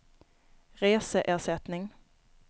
reseersättning